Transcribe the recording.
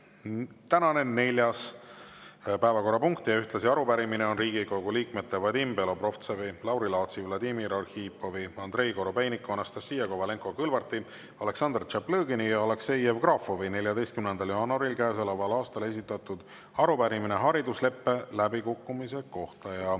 Tänane neljas päevakorrapunkt ja arupärimine on Riigikogu liikmete Vadim Belobrovtsevi, Lauri Laatsi, Vladimir Arhipovi, Andrei Korobeiniku, Anastassia Kovalenko-Kõlvarti, Aleksandr Tšaplõgini ja Aleksei Jevgrafovi 14. jaanuaril käesoleval aastal esitatud arupärimine haridusleppe läbikukkumise kohta.